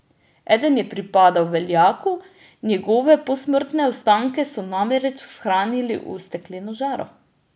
Eden je pripadal veljaku, njegove posmrtne ostanke so namreč shranili v stekleno žaro.